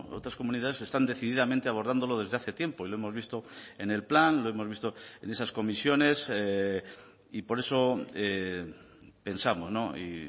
otras comunidades están decididamente abordándolo desde hace tiempo y lo hemos visto en el plan lo hemos visto en esas comisiones y por eso pensamos y